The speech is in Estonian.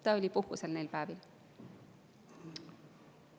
Ta oli neil päevil puhkusel.